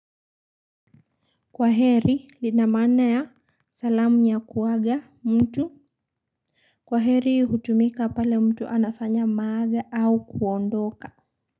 Kwaheri linamana ya salamu nyakuwaga mtu. Kwaheri hutumika pale mtu anafanya maaga au kuondoka.